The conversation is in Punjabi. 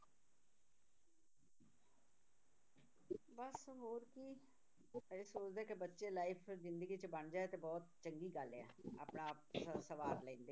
ਬਸ ਹੋਰ ਕੀ, ਇਹ ਸੋਚਦੇ ਹਾਂ ਕਿ ਬੱਚੇ life ਜ਼ਿੰਦਗੀ 'ਚ ਬਣ ਜਾਏ ਤਾਂ ਬਹੁਤ ਚੰਗੀ ਗੱਲ ਹੈ, ਆਪਣਾ ਆਪ ਸ~ ਸਵਾਰ ਲੈਂਦੇ